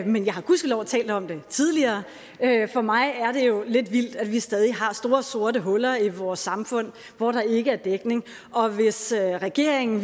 men jeg har gudskelov talt om det tidligere for mig er det jo lidt vildt at vi stadig har store sorte huller i vores samfund hvor der ikke er dækning og hvis regeringen